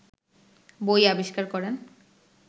বই আবিস্কার করেন